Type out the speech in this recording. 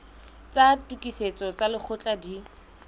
tsa tokisetso tsa lekgetho di